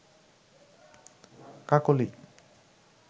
Kakoli